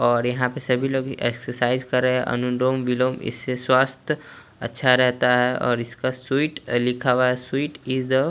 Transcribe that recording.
और यहाँ पर सभी लोग भी एक्सरसाइज़ कर रहे हैं अनुलोम विलोम इससे स्वास्थ्य अच्छा रहता है और इसका स्वीट अ लिखा हुआ है स्वीट इज द --